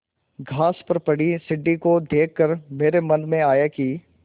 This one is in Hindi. घास पर पड़ी सीढ़ी को देख कर मेरे मन में आया कि